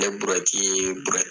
Nin burɛti in ye burɛti